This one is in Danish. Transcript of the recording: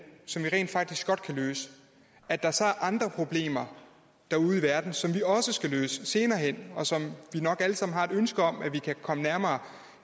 som vi rent faktisk godt kan løse at der så er andre problemer derude i verden som vi også skal løse senere hen og som vi nok alle sammen har et ønske om at vi kan komme nærmere